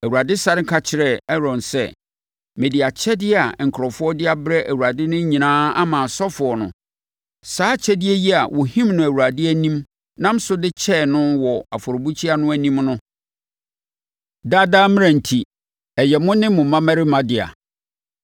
Awurade sane ka kyerɛɛ Aaron sɛ: “Mede akyɛdeɛ a nkurɔfoɔ de abrɛ Awurade no nyinaa ama asɔfoɔ no; saa akyɛdeɛ yi a wɔhim no Awurade anim nam so de kyɛɛ no wɔ afɔrebukyia no anim no no, daa daa mmara enti, ɛyɛ mo ne mo mmammarima dea.